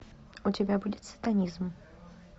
у тебя будет сатанизм